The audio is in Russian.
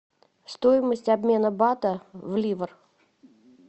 стоимость обмена бата в ливр